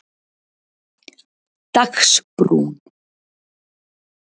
Dagsbrún